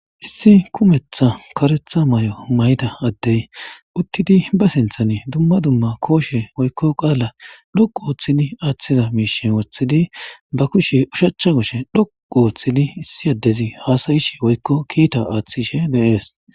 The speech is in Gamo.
issi kumetha karetha may7o mayta addey uttidi ba sinthani dumma dumma kooshe woykko qaala dhoqu ooththidi aaththiza miishen woththidi ba kushe ushacha koshe dhoqu ooththidi issi addezi haasayishe woykko kiita aaththishe deees